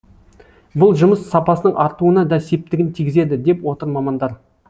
бұл жұмыс сапасының артуына да септігін тигізеді деп отыр мамандар